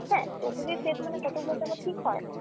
হ্যাঁ totally fake মানে কতগুলো আবার ঠিক হয়।